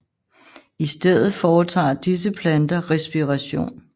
I stedet foretager disse planter respiration